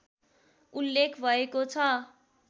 उल्लेख भएको छ